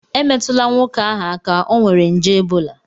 Emetụla nwoke ahụ aka, ọ nwere nje ebola